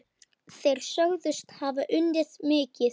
Þeir sögðust hafa unnið mikið.